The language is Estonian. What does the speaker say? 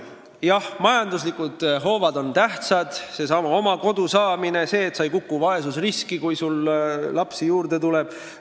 Jah, majanduslikud hoovad on ka tähtsad: oma kodu saamine ja see, et sa ei kukuks vaesusriski, kui sul lapsi juurde tuleb.